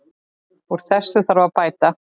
Úr þessu þarf að bæta.